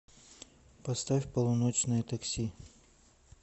поставь полуночное такси